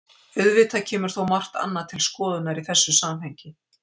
Auðvitað kemur þó margt annað til skoðunar í þessu samhengi.